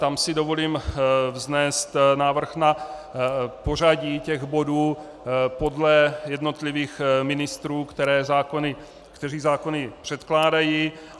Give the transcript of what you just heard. Tam si dovolím vznést návrh na pořadí těch bodů podle jednotlivých ministrů, kteří zákony předkládají.